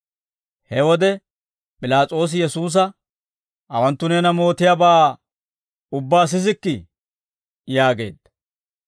He wode, P'ilaas'oosi Yesuusa, «Hawanttu neena mootiyaabaa ubbaa sisikkii?» yaageedda.